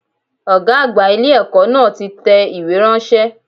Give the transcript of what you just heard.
Ọ̀gá àgbà ilé ẹ̀kọ́ náà ti tẹ ìwé ránṣẹ́